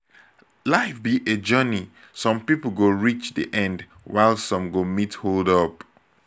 life be a journey some people go reach the end while some go meet hold up